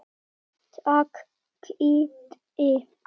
Takk Kiddi.